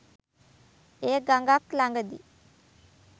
එය ගඟක් ළඟදී